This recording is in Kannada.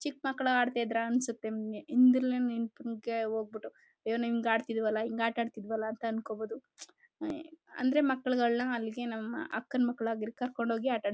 ಚಿಕ್ ಮಕ್ಕಳು ಆಡ್ತಿದ್ರಾ ಅನಿಸುತ್ತೆ ಹಿಂದೆ ಯಿಂದ ಸುಮ್ನೆ ಹೋಗ್ಬಿಟ್ಟು ಅಯ್ಯೋ ಹಿಂಗ್ ಆಟ ಆಡ್ತಿದ್ವಲ್ಲ ಅಂಕೋಬೋದು ಹಾಯ್ ಅಂದ್ರೆ ಮಕ್ಕಳಿಗೆ ಒಳ್ಳೆ ಹಳಿಗೆ ನಮ್ಮ ಅಮ್ಮ ಅಕ್ಕನ ಮಕ್ಕಳನ್ನ ಕರ್ಕೊಂಡು ಹೋಗಿ ಆಟದದು.